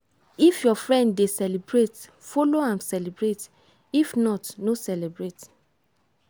if your friend dey celebrate follow am celebrate if not no celebrate.